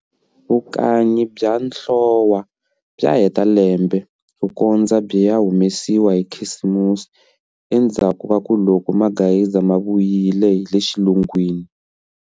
Vukanyi bya nhlowa bya heta lembe, ku kondza byi ya humesiwa hi khisimusi endzhakuka loko magayisa ma vuyile hi le xilungwini.